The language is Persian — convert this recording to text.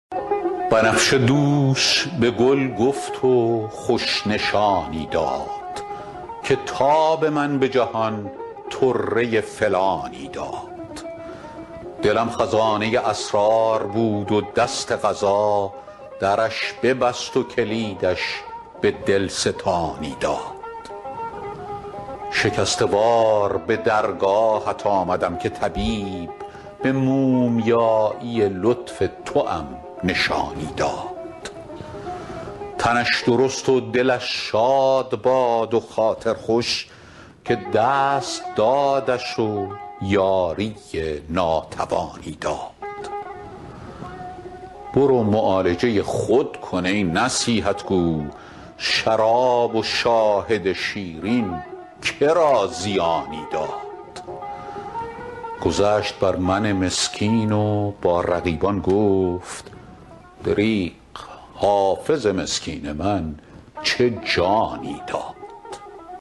بنفشه دوش به گل گفت و خوش نشانی داد که تاب من به جهان طره فلانی داد دلم خزانه اسرار بود و دست قضا درش ببست و کلیدش به دل ستانی داد شکسته وار به درگاهت آمدم که طبیب به مومیایی لطف توام نشانی داد تنش درست و دلش شاد باد و خاطر خوش که دست دادش و یاری ناتوانی داد برو معالجه خود کن ای نصیحت گو شراب و شاهد شیرین که را زیانی داد گذشت بر من مسکین و با رقیبان گفت دریغ حافظ مسکین من چه جانی داد